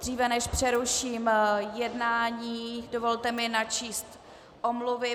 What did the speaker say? Dříve než přeruším jednání, dovolte mi načíst omluvy.